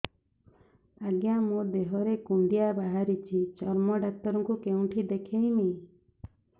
ଆଜ୍ଞା ମୋ ଦେହ ରେ କୁଣ୍ଡିଆ ବାହାରିଛି ଚର୍ମ ଡାକ୍ତର ଙ୍କୁ କେଉଁଠି ଦେଖେଇମି